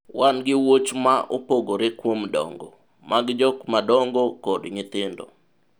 wan gi wuoch ma opogore kuom dongo mag jok madongo kod nyithindo